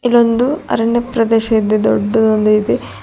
ಇದೊಂದು ಅರಣ್ಯ ಪ್ರದೇಶ ಇದೆ ದೊಡ್ಡದಾದ ಇದೆ.